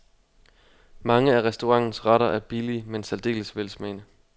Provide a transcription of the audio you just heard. Mange af restaurantens retter er billige men særdeles velsmagende.